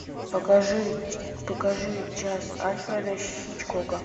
покажи покажи час альфреда хичкока